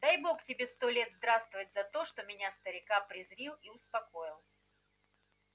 дай бог тебе сто лет здравствовать за то что меня старика призрил и успокоил